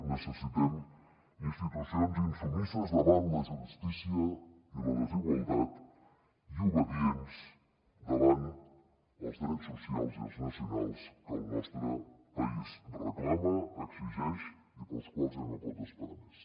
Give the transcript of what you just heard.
necessitem institucions insubmises davant la justícia i la desigualtat i obedients davant els drets socials i els nacionals que el nostre país reclama exigeix i per als quals ja no pot esperar més